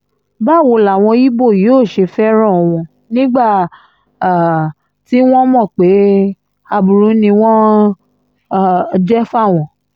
báwo làwọn ibo yóò ṣe fẹ́ràn wọn nígbà um tí wọ́n mọ̀ pé aburú ni wọ́n um jẹ́ fáwọn